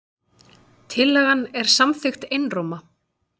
Tillagan var samþykkt einróma